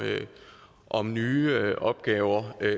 om nye opgaver er